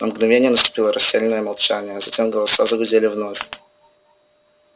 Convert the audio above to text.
на мгновение наступило растерянное молчание а затем голоса загудели вновь